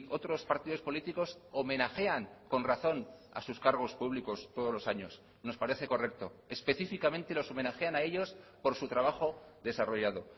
otros partidos políticos homenajean con razón a sus cargos públicos todos los años nos parece correcto específicamente los homenajean a ellos por su trabajo desarrollado